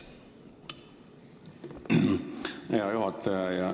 Hea juhataja!